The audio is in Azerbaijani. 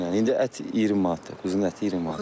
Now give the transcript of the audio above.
Diri çəkiylə, indi ət 20 manatdır, quzu əti 20 manat.